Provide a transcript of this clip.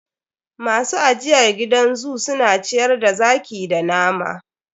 Masu ajiyr gidan zoo su na ciyar da zaki da nama.